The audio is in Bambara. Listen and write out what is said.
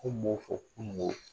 Ko mɔw ko kununko